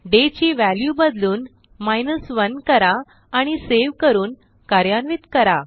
day ची value बदलून 1 करा आणि सेव्ह करून कार्यान्वित करा